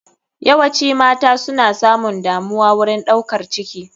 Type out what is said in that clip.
Yawaci mata suna samun damuwa wurin ɗaukar ciki.